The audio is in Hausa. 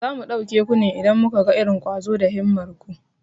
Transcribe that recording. Za mu ɗauke ku ne idan muka ga irin ƙwazo da himmar ku.